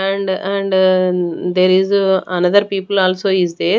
And and there is a another people also is there.